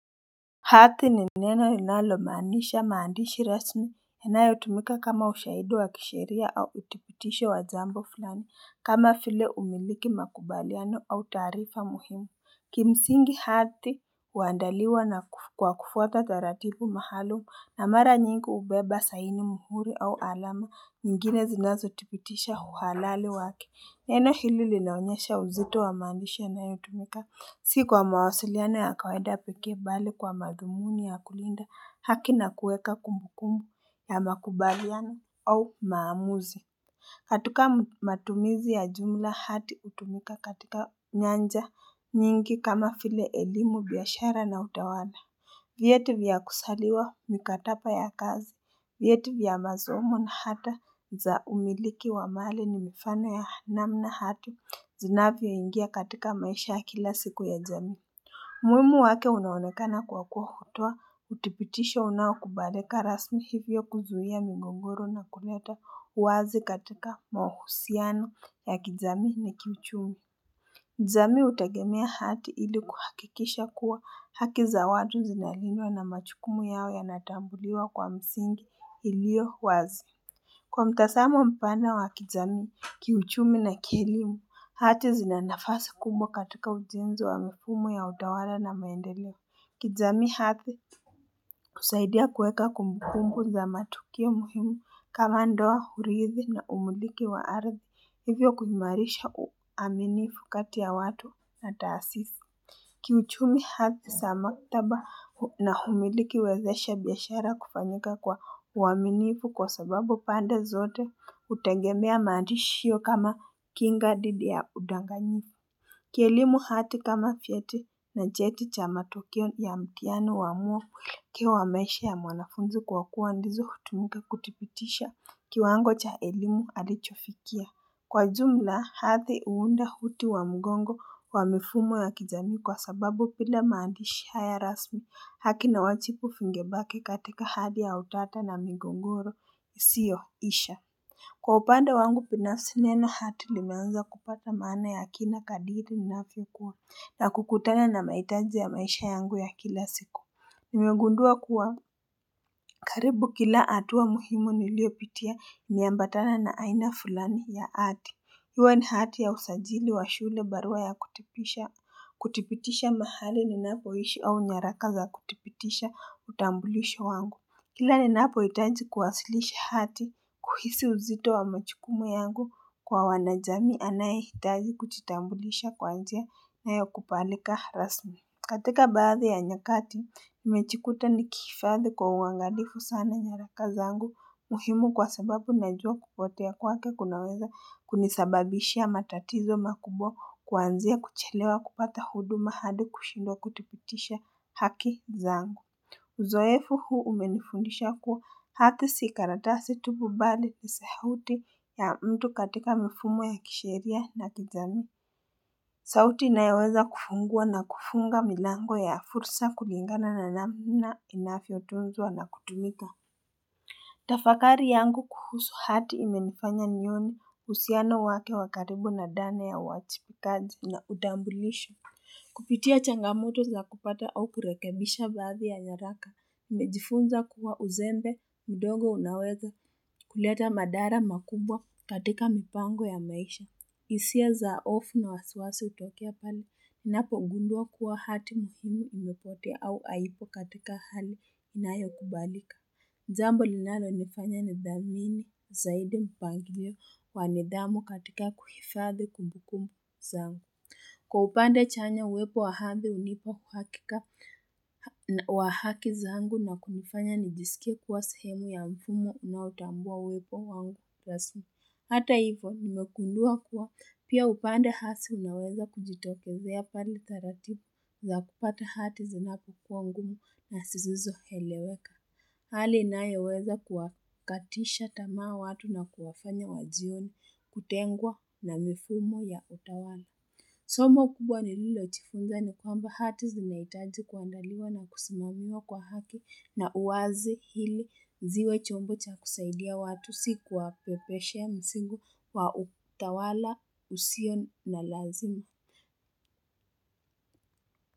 Hati ni neno inalomaanisha maandishi rasmi, inayotumika kama ushaidi wa kishiria au uthibitisho wa jambo fulani, kama vile umiliki, makubaliano au taarifa muhimu. Kimsingi hati huandaliwa na kwa kufuata taaratibu maalum na mara nying hubeba, saini, muhuri au alama, nyingine zinazo thibitisha uhalali wake. Neno hili linaonyesha uzito wa maandisha inayotumika si kwa mawasiliano ya kawaida pekee bali kwa madhumuni ya kulinda haki na kuweka kumbukumbu ya makubaliano au maamuzi. Hati kama matumizi ya jumla hati hutumika katika nyanja nyingi kama vile elimu, biashara na utawala. Vyeti vya kuzaliwa, mikataba ya kazi, vyeti vya masomo na hata za umiliki wa mali ni mifano ya namna hati zinavyo ingia katika maisha ya kila siku ya jamii. Umuhimu wake unaonekana kwa kutoa uthibitisho unaokubalika rasmi hivyo kuzuia mingongoro na kuleta uwazi katika mahusiano ya kijamii na kiuchumi. Jamii utagemia hati ili kuhakikisha kuwa haki za watu zinalindwa na majukumu yao ya natambuliwa kwa msingi ilio wazi. Kwa mtazamo mpana wa kijamii, kiuchumi na kielimu, hati zinanafasi kumbwa katika uzenji wa mifumo ya utawala na maendeleo. Kijamii hati kusaidia kweka kumbukumbu za matukio muhimu kama ndoa, hurithi na umuliki wa ardhi hivyo kuimarisha uaminifu kati ya watu na taasisi. Kiuchumi hati za maktaba na humiliki huwezesha biashara kufanyika kwa uaminifu kwa sababu pande zote hutengemea maandishi hiyo kama kinga dhidi ya udanganyifu. Kielimu hati kama vyeti na cheti cha matokio ya mtihano huamua maisha ya mwanafunzi kwa kuwa ndizo hutumika kuthibitisha kiwango cha elimu alichofikia. Kwa jumla hati huunda huti wa mgongo wa mifumo ya kijamii kwa sababu kila maandishi haya rasmi haki na uwajibu vingebaki katika hali ya utata na migogoro isiyo isha. Kwa upande wangu binafsi neno hati limeanza kupata maana ya kina kadiri ninavyokuwa na kukutana na mahitaji ya maisha yangu ya kila siku. Nimegundua kuwa karibu kila hatua muhimu niliopitia niliambatana na aina fulani ya hati. Iwe ni hati ya usajili wa shule barua ya kuthibitisha kuthibitisha mahali ninapo ishi au nyaraka za kuthibitisha utambulisho wangu. Kila ninapohitaji kuwasilisha hati kuhisi uzito wa majukumu yangu kwa wanajamii anayehitaji kujitambulisha kwanzia na ya kupalika rasmi. Katika baadhi ya nyakati nimejikuta nikiifadhi kwa uangalifu sana nyaraka zangu muhimu kwa sababu najua kupote ya kwake kunaweza kunisababishia matatizo makubwa kuanzia kuchelewa kupata huduma hadi kushindwe kuthibitisha haki zangu. Uzoefu huu umenifundisha kuwa hati si karatasi tu bali ni sauti ya mtu katika mfumo ya kishiria na kijamii. Sauti inayoweza kufungua na kufunga milango ya fursa kulingana na namna inavyotunzwa na kutumika. Tafakari yangu kuhusu hati imenifanya nione uhusiano wake wakaribu na ndani ya uwajibikaji na utambulisho. Kupitia changamoto za kupata au kurekebisha baathi ya nyaraka, nimejifunza kuwa uzembe, mdogo unaweza kuleta madhara makubwa katika mipango ya maisha. Hisia za hofu na wasawasi hutokea pale, ninapo ngundua kuwa hati muhumu imepotea au haipo katika hali inayo kubalika. Jambo linalo nifanya nidhamini zaidi mpangilio kwa nidhamu katika kuhifadhi kumbukumu zangu. Kwa upande chanya uwepo wa hati hunipa uhakika wa haki zangu na kunifanya nijisikia kuwa samehemu ya mfumo unaotambua uwepo wangu. Hata hivyo nimegundua kuwa pia upande hasa unaweza kujitokezea pale taratibu za kupata hati zinapo ngumu na zisizo eleweka. Hali inayoweza kuwakatisha tamaa watu na kuwafanya wajione kutengwa na mifumo ya utawala. Somo kubwa nililo jifunja ni kwamba hati zinahitaji kuandaliwa na kusimamiwa kwa haki na uwazi ili ziwe chombo cha kusaidia watu si kwa pepeshea mzigo wa utawala usiyo na lazima.